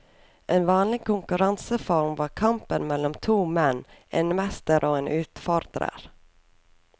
En vanlig konkurranseform var kampen mellom to menn, en mester og en utfordrer.